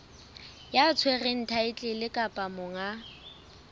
ya tshwereng thaetlele kapa monga